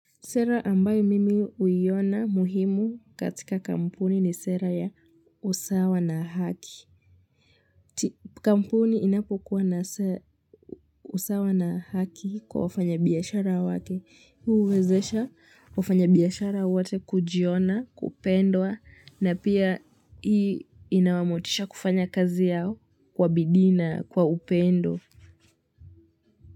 Sera ambayo mimi uiona muhimu katika kampuni ni sera ya usawa na haki. Kampuni inapokuwa na usawa na haki kwa wafanya biashara wake huwezesha wafanya biashara wote kujiona kupendwa, na pia hii inawamotisha kufanya kazi yao kwa bidii na kwa upendo.